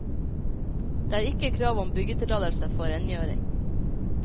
Det er ikke krav om byggetillatelse for rengjøring.